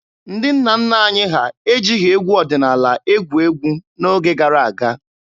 Ndị nna nna anyị ha ejighị egwu ọdịnaala egwu egwu n'oge gara aga.